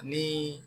Ni